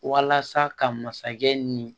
Walasa ka masakɛ ni